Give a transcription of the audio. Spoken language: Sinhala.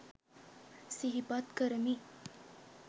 සිහිපත් කරමි.